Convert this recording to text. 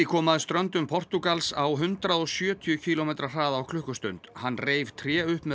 kom að ströndum Portúgals á hundrað og sjötíu kílómetra hraða á klukkustund hann reif tré upp með